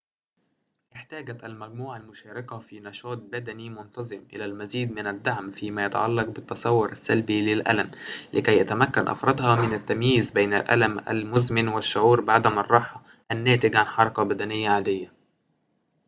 احتاجت المجموعة المشاركة في نشاطٍ بدني منتظم إلى المزيد من الدعم فيما يتعلق بالتصور السلبي للألم لكي يتمكن أفرادها من التمييز بين الألم المزمن والشعور بعدم الراحة الناتج عن حركة بدنية عادية